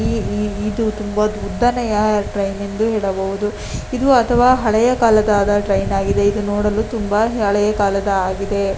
ಇದು ತುಂಬಾ ಉದ್ದನೆಯ ಟ್ರೈನ್ ಎಂದು ಹೇಳಬಹುದು ಇದು ಅಥವಾ ಅಲೆಯ ಕಾಲದಾದ ಟ್ರೈನ್ ಆಗಿದೆ ಇದು ನೋಡಲು ತುಂಬ ಅಲೆಯ ಕಾಲದ ಆಗಿದೆ.